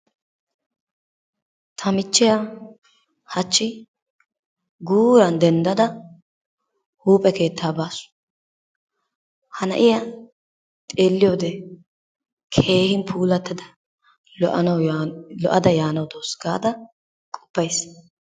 Ta michchiya hachchi guuran denddada huuphe keettaa baasu. Ha na'iya xeelliyode keehin puulattada lo'ada yaanawu dawusu gaada qoppays.